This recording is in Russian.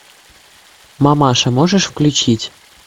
мамаша можешь включить